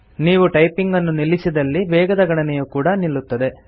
ನೀವು ಟೈಪಿಂಗನ್ನು ನಿಲ್ಲಿಸಿದಲ್ಲಿ ವೇಗದ ಗಣನೆಯು ಕೂಡ ನಿಲ್ಲುತ್ತದೆ